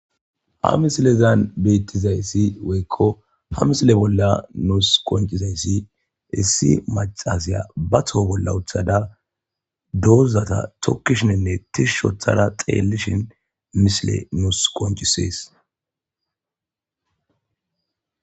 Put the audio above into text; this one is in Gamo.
ha misilezan beettizay issi woykko ha misile bolla nuus koncizessi issi macasiya ba tho bolla uthada doozata tokkishininne tishishothada xeellishin misile nuus qoncisees